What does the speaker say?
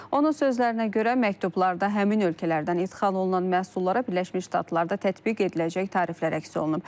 Onun sözlərinə görə məktublarda həmin ölkələrdən idxal olunan məhsullara Birləşmiş Ştatlarda tətbiq ediləcək tariflər əks olunub.